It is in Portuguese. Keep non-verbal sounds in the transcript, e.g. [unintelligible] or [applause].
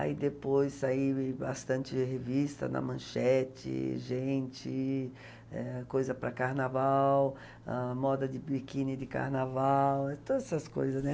Aí depois saiu [unintelligible] bastante revista na manchete Gente, eh, coisa para carnaval, moda de biquíni de carnaval, todas essas coisas, né?